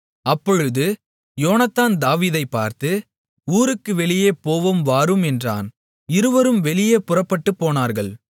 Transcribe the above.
அப்பொழுது யோனத்தான் தாவீதைப் பார்த்து ஊருக்கு வெளியே போவோம் வாரும் என்றான் இருவரும் வெளியே புறப்பட்டுப்போனார்கள்